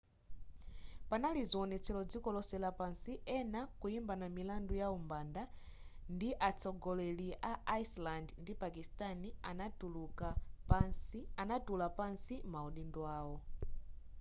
panali zionetselo dziko lonse lapansi ena kuimbana milandu ya umbanda ndipo atsogoleri amaiko a iceland ndi pakistani anatula pansi maudindo awo